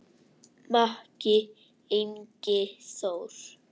Maki, Ingi Þór.